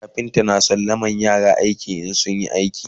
kafinta na sallamar yaran aiki in sun iya aiki